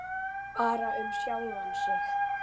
Bara um sjálfan sig.